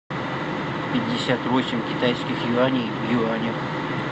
пятьдесят восемь китайских юаней в юанях